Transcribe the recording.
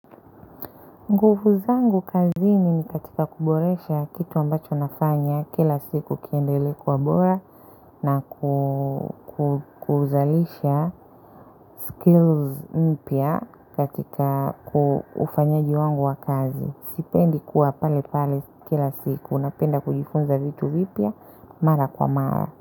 Nguvu zangu kazini ni katika kuboresha kitu ambacho nafanya kila siku kiendelee kuwa bora na kuzalisha skills mpya katika ufanyaji wangu wa kazi. Sipendi kuwa pale pale kila siku napenda kujifunza vitu vipya mara kwa mara.